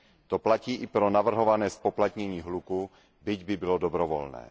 To platí i pro navrhované zpoplatnění hluku, byť by bylo dobrovolné.